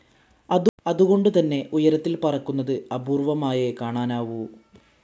അതുകൊണ്ടുതന്നെ ഉയരത്തിൽ പറക്കുന്നത് അപൂർവ്വമായേ കാണാനാവൂ.